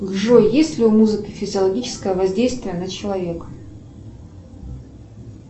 джой есть ли у музыки физиологическое воздействие на человека